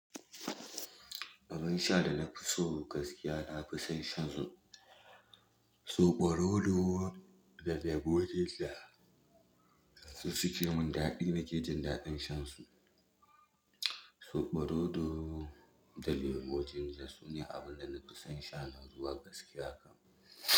Abin sha da na fi so gaskiya, na fi son shansu, soɓo rodo da lemon gila. Su suke mun daɗi, nake jin daɗin shan su. Soɓo rodo da lemon ginger sune abin da na fi son sha nan zuwa gaskiya kam.